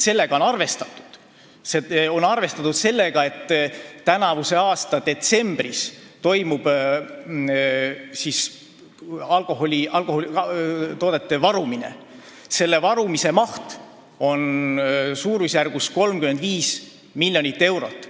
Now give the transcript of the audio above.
Prognoosis on arvestatud sellega, et tänavuse aasta detsembris toimub alkoholitoodete varumine, mille maht on suurusjärgus 35 miljonit eurot.